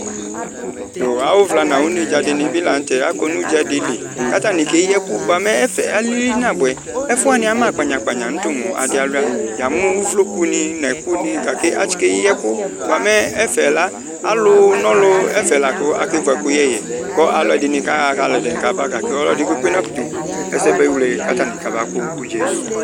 Yo awu vla nu awu nedzadini la nu tɛ akɔ nu udzadili katani eyi ɛku nya mɛ ɛfɛ alili nabuɛ ɛfuani ama kpanya kpanya mu adi alu yamu ovloku nu mɛ asi Ketu ɛku ɛfɛla ɔlu nɔlu asike vu ɛkuyɛ yɛ alu ɛdini kaɣa kalu ɛdini kaba gake ɔlɔdi nebu ɛsɛ amewle ku atani amaku udza yɛ li